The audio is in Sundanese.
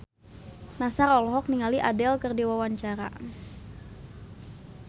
Nassar olohok ningali Adele keur diwawancara